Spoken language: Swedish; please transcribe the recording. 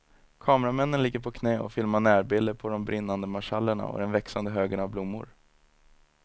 Kameramännen ligger på knä och filmar närbilder på de brinnande marschallerna och den växande högen av blommor.